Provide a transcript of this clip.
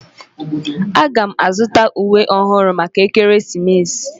Aga m azuta uwe ọhụrụ maka ekeresimesi.